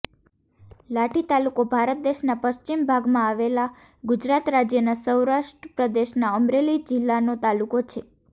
લાઠી તાલુકો ભારત દેશના પશ્ચિમ ભાગમાં આવેલા ગુજરાત રાજ્યના સૌરાષ્ટ્ર પ્રદેશના અમરેલી જિલ્લાનો તાલુકો છે